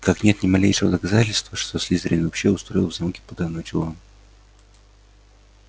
как нет ни малейшего доказательства что слизерин вообще устроил в замке потайной чулан